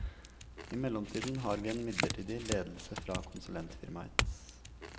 I mellomtiden har vi en midlertidig ledelse fra konsulentfirmaet.